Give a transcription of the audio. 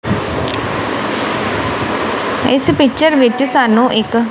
ਇਸ ਪਿਚਰ ਵਿੱਚ ਸਾਨੂੰ ਇੱਕ--